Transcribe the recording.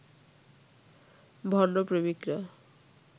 ভণ্ড প্রেমিকরা